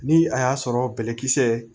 Ni a y'a sɔrɔ bɛlɛkisɛ